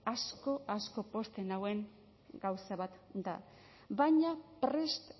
asko asko pozten nauen gauza bat da baina prest